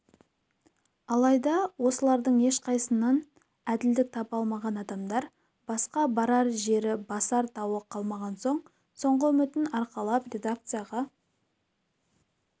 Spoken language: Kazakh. алайда осылардың ешқайсысынан әділдік таба алмаған адамдар басқа барар жері басар тауы қалмаған соң соңғы үмітін арқалап редакцияға